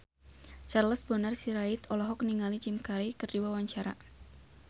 Charles Bonar Sirait olohok ningali Jim Carey keur diwawancara